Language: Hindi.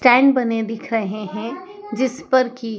चैन बने दिख रहे हैं जिस पर की--